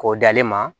K'o d'ale ma